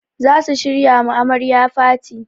Za su shirya ma amarya faty.